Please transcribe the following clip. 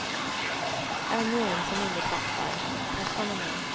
Ännu en som inget fattar, fast han är med.